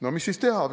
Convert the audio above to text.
" No mis siis teha?